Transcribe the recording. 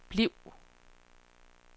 bliv